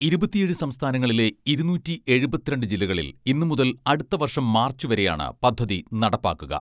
ഇരുപത്തിയേഴ് സംസ്ഥാനങ്ങളിലെ ഇരുനൂറ്റി എഴുപത്തിരണ്ട് ജില്ലകളിൽ ഇന്നുമുതൽ അടുത്തവർഷം മാർച്ചു വരെയാണ് പദ്ധതി നടപ്പാക്കുക.